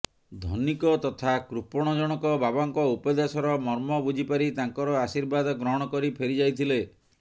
ଧନିକ ତଥା କୃପଣ ଜଣକ ବାବାଙ୍କ ଉପଦେଶର ମର୍ମ ବୁଝିପାରି ତାଙ୍କର ଆଶୀର୍ବାଦ ଗ୍ରହଣ କରି ଫେରିଯାଇଥିଲେ